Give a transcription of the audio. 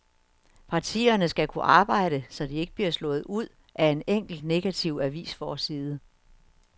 Partierne skal kunne arbejde, så de ikke bliver slået ud af en enkelt negativ avisforside.